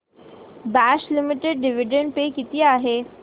Bosch limited dividend pay किती आहे